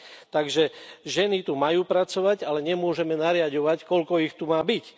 Takže ženy tu majú pracovať, ale nemôžeme nariaďovať, koľko ich tu má byť.